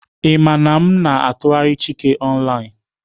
Ị maara na m na-atụgharị chike online?